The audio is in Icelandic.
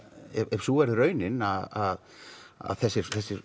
ef sú verður raunin að að þessi